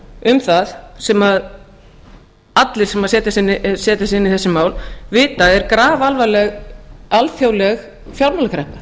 um það sem allir sem setja sig inn í þessi mál vita að er grafalvarleg alþjóðleg fjármálakreppa